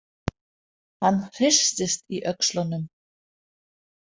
Hann hristist í öxlunum.